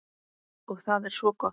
Og það er svo gott.